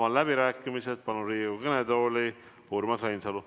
Avan läbirääkimised ja palun Riigikogu kõnetooli Urmas Reinsalu.